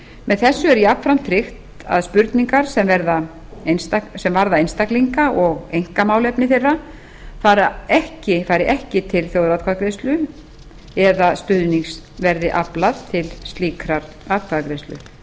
með þessu er jafnframt tryggt að spurningar sem varða einstaklinga og einkamálefni þeirra fari ekki til þjóðaratkvæðagreiðslu eða stuðnings verði aflað til slíkrar atkvæðagreiðslu þá